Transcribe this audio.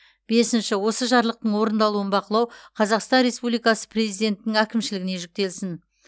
бесінші осы жарлықтың орындалуын бақылау қазақстан республикасы президентінің әкімшілігіне жүктелсін